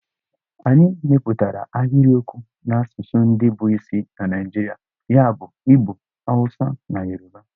Anyị mepụtara ahịrịokwu n'asụsụ ndị bụ isi na Naijirịa ya bụ Igbo, Awụsa na Yoruba.